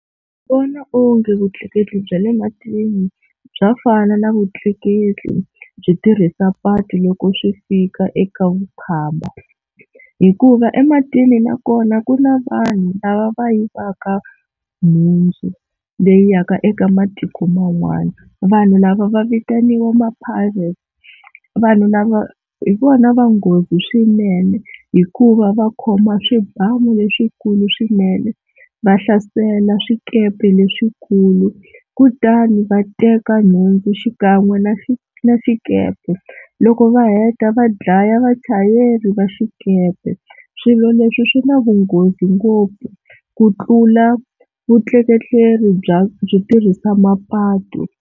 Vona onge vutleketli bya le matini bya fana na vutleketli byo tirhisa patu loko swi fika eka vukhamba, hikuva ematini nakona ku na vanhu lava va yivaka nhundzu leyi yaka eka matiko man'wana, vanhu lava va vitaniwa ma-Pirates vanhu lava hi vona va nghozi swinene hikuva va khoma swibamu leswikulu swinene va hlasela swikepe leswikulu kutani va teka nhundzu xikan'we na na xikepe. loko va heta va dlaya vachayeri va xikepe. Swilo leswi swi na vunghozi ngopfu ku tlula vutleketleri bya byo tirhisa mapatu.